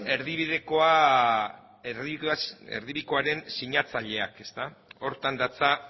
erdibidekoaren sinatzaileak ezta horretan datza